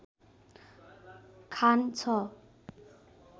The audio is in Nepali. खान छ